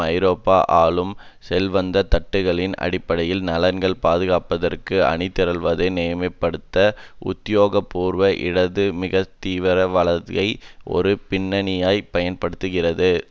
ஐரோப்பிய ஆளும் செல்வந்த தட்டுக்களின் அடிப்படை நலன்களை பாதுகாப்பதற்கு அணிதிரள்வதை நியமப்படுத்த உத்தியோகபூர்வ இடது மிகத்தீவிர வலதை ஒரு பின்னணியாய் பயன்படுத்துகிறது